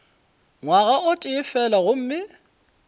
ngwaga o tee fela gomme